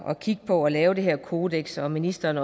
og kigge på at lave det her kodeks og ministeren